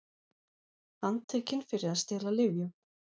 Handtekin fyrir að stela lyfjum